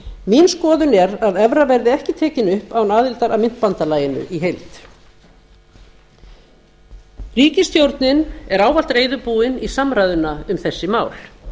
mín skoðun er að evra verði ekki tekin upp án aðildar að myntbandalaginu í heild ríkisstjórnin er ávallt reiðubúin í samræðuna um þessi mál